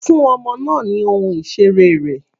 Fún ọmọ náà ni ohun ìseré rẹ̀.